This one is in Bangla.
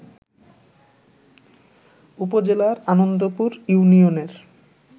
উপজেলার আনন্দপুর ইউনিয়নের